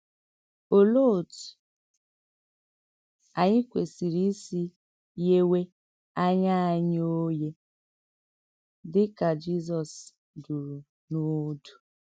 Òlee òtú ànyị kwesìrì ísì ‘ghèwé ànyá ànyị òghè’ dị̀ ka Jizọs dùrù n’òdù?